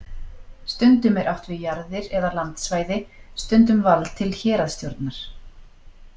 Stundum er átt við jarðir eða landsvæði, stundum vald til héraðsstjórnar.